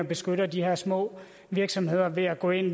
beskytter de her små virksomheder ved at gå ind